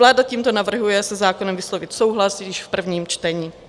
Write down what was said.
Vláda tímto navrhuje se zákonem vyslovit souhlas již v prvním čtení.